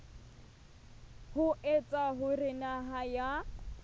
ho etsa hore naha ya